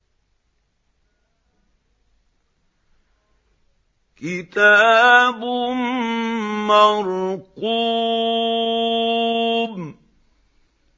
كِتَابٌ مَّرْقُومٌ